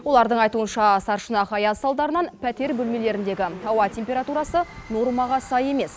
олардың айтуынша сарышұнақ аяз салдарынан пәтер бөлмелеріндегі ауа температурасы нормаға сай емес